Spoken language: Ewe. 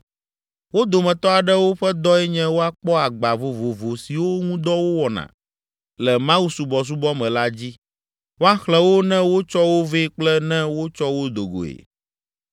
Wo dometɔ aɖewo ƒe dɔe nye woakpɔ agba vovovo siwo ŋu dɔ wowɔna le mawusubɔsubɔ me la dzi, woaxlẽ wo ne wotsɔ wo vɛ kple ne wotsɔ wo do goe.